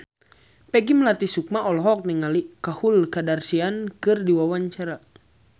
Peggy Melati Sukma olohok ningali Khloe Kardashian keur diwawancara